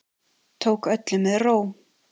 Tók öllu með ró